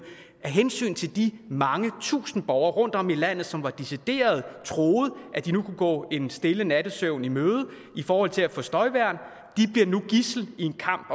hensyn til de mange tusinde borgere rundtom i landet som decideret troede at de nu kunne gå en stille nattesøvn i møde i forhold til at få støjværn de bliver nu gidsler i en kamp